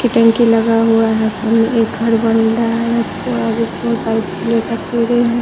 की टंकी लगा हुआ है सामने एक घर बन रहा है बहुत सारे फूलों के पेड़े हैं।